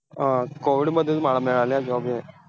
अं COVID मधेच मग हा मिळालेला job आहे.